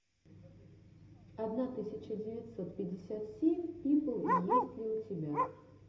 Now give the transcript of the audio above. одна тысяча девятьсот пятьдесят семь пипл есть ли у тебя